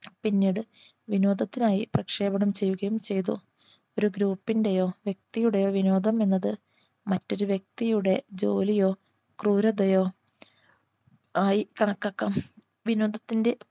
പിന്നീട് വിനോദത്തിനായി പ്രക്ഷേപണം ചെയ്യുകയും ചെയ്തു ഒരു Group ന്റെയോ വ്യക്തിയുടെയോ വിനോദം എന്നത് മറ്റൊരു വ്യക്തിയുടെ ജോലിയോ ക്രൂരതയോ ആയി കണക്കാക്കാം വിനോദത്തിന്റെ